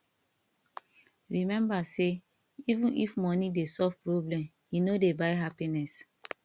remember sey even if money dey solve problem e no dey buy happiness